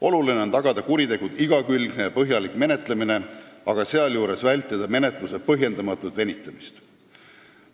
Oluline on tagada kuritegude igakülgne ja põhjalik menetlemine, aga sealjuures vältida menetluse põhjendamatut venitamist.